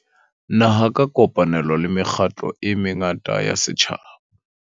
Naha ka kopanelo le mekgatlo e mengata ya setjhaba.